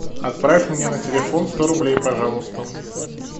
отправь мне на телефон сто рублей пожалуйста